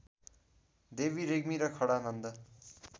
देवी रेग्मी र खडानन्द